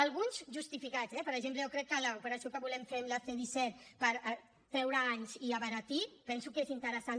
alguns justificats eh per exemple jo crec que l’operació que volem fer amb la c disset per treure anys i abaratir penso que és interessant